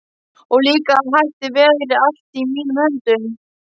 Og líka að þetta væri allt í mínum höndum.